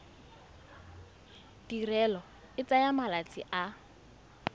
tirelo e tsaya malatsi a